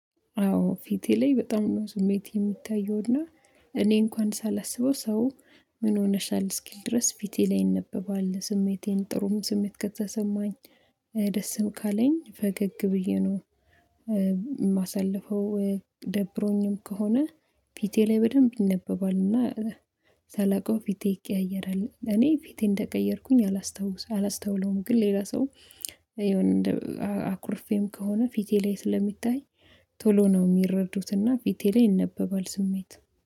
አዎ ፊቴ ላይ በጣም ነው ስሜት የሚታየውና እኔ እንኳን ሳላስበው ሰው ምን ሆነሻል እስኪል ድረስ ፊቴ ላይ ይነበባል ስሜቴን ጥሩም ስሜት ከተሰማኝ ደስም ካለኝ ፈገግ ብዬ ነው የማሳልፈው። ደብሮኝም ከሆነ ፊቴ ላይ በደንብ ይነበባል እና። ሳላውቀው ፊቴ ይቀያየራል እኔ ፊቴ እንደቀየርኩኝ አላስታውስ አላስታውለውም ግን ሌላ ሰው ይሄን አኩርፌም ከሆነ ፊቴ ላይ ስለሚታይ ቶሎ ነው የሚረዱት ፊቴ ላይ ይነበባል ስሜት